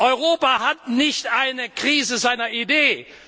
Europa hat nicht eine Krise seiner Idee.